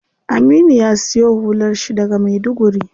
Aminu ya siyo hular shi daga maiduguri.